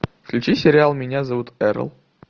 включи сериал меня зовут эрл